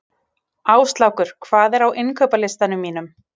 Áslákur, hvað er á innkaupalistanum mínum?